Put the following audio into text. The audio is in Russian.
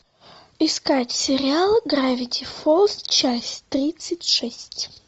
искать сериал гравити фолз часть тридцать шесть